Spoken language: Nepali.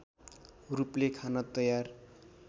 रूपले खान तयार